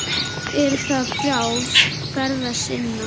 Er það frjálst ferða sinna?